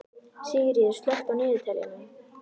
Sigríkur, slökktu á niðurteljaranum.